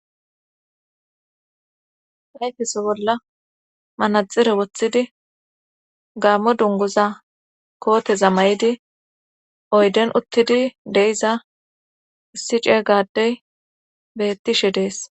ayfeso bolla manaxire woththidi gaammo dunguza kooteza may7idi oyden uttidi deiza issi ceega adey bettishe dees